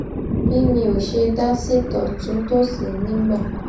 bí mi ò ṣe dá sí tòtúntòsì nígbà